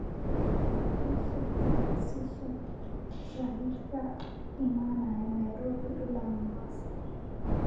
ii sheeg tafaasiisha gaadiidka ka imanaya nairobi ilaa mombasa